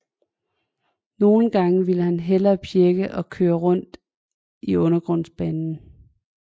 Nogen gange ville han hellere pjække og køre rundt i undergrundsbanen